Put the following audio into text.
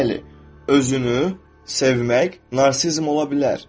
Bəli, özünü sevmək narsizm ola bilər.